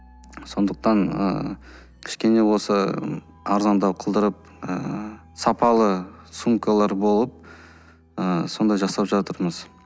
сондықтан ыыы кішкене болса арзандау қылдырып ыыы сапалы сумкалар болып ы сондай жасап жатырмыз